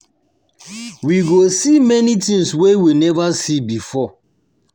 We go see many things wey we never see before